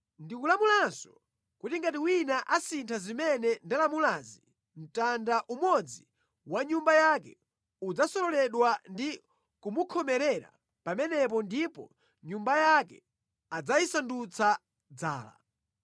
Ndikulamulanso kuti ngati wina asintha zimene ndalamulazi, mtanda umodzi wa nyumba yake udzasololedwa ndi kumunkhomera pamenepo ndipo nyumba yake adzayisandutse dzala.